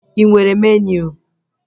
Ị nwere meniu?